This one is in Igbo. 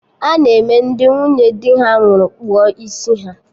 Ana eme Ndị nwunye dị ha nwụrụ kpụọ isi ha